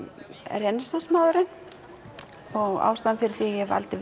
renaissance maðurinn og ástæðan fyrir því að ég valdi